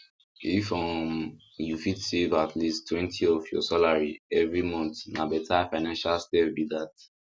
if um you fit save at leasttwentyof your salary every month na better financial step be that